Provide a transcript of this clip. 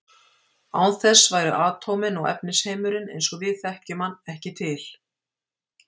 Án þess væru atómin og efnisheimurinn eins og við þekkjum hann ekki til.